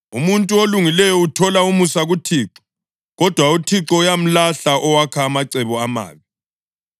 Umuntu olungileyo uthola umusa kuThixo, kodwa uThixo uyamlahla owakha amacebo amabi.